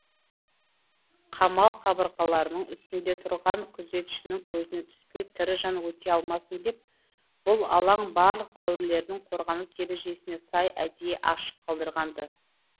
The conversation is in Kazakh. қамал қабырғаларының үстінде тұрған күзетшінің көзіне түспей тірі жан өте алмасын деп бұл алаң барлық дәуірлердің қорғаныс ережесіне сай әдейі ашық қалдырылған ды